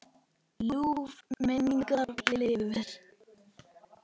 Ljúf minning lifir.